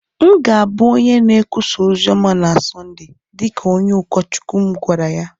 M ga-abụ onye na-ekwusa ozi ọma na Sọnde, dị ka onye ụkọchukwu m gwara ya.